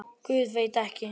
Guð, veit ekki.